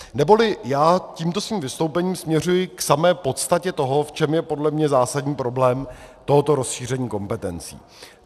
Neboli já tímto svým vystoupením směřuji k samé podstatě toho, v čem je podle mě zásadní problém tohoto rozšíření kompetencí.